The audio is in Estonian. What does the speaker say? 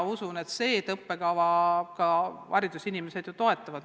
Usun siiski, et õppekava ja haridusametnikud seda toetavad.